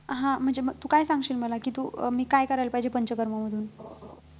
हा म्हणजे मग तू काय सांगशील मला कि तू अं मी काय करायला पाहिजे पंचकर्मामधून